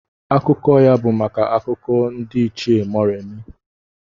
Akụkọ ya bụ maka Akụkọ ndị Ichie Moremi.